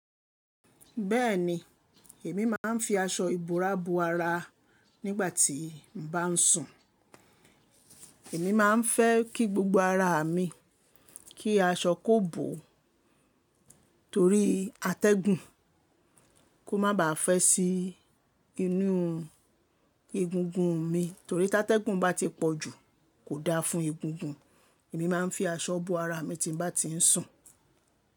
Bẹ́ẹ̀ni, èmi máa ń fi aṣọ ìbòrá bo ara nígbà tí mo bá ń sùn. Èmi máa ń fẹ́ kí gbogbo ara mi kí aṣọ kó bò ó torí atẹ́gùn kó má ba à fẹ́ sí inú egungun mi torí tí atẹ́gùn bá ti pọ̀ jù kò da fún egungun. Èmi máa ń fi aṣọ bò ara mi tí n bá ti ń sùn.